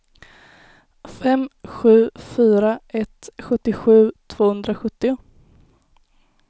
fem sju fyra ett sjuttiosju tvåhundrasjuttio